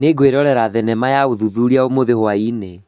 Nĩngwĩrorera thenema ya ũthuthuria ũmũthi hwaĩ-inĩ